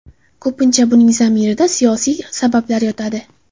Ko‘pincha buning zamirida siyosiy sabablar yotadi.